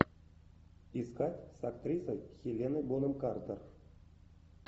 искать с актрисой хеленой бонем картер